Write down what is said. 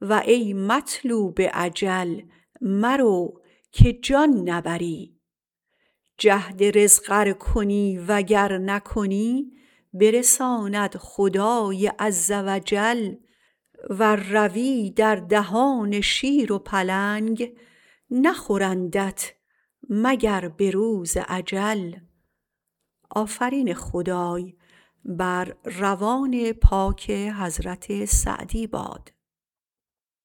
و ای مطلوب اجل مرو که جان نبری جهد رزق ار کنی و گر نکنی برساند خدای عز و جل ور روی در دهان شیر و پلنگ نخورندت مگر به روز اجل